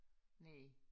Næ